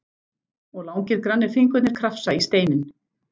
Og langir grannir fingurnir krafsa í steininn.